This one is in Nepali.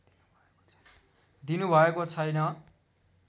दिनुभएको छैन